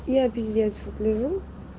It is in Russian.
я пиздец вот лежу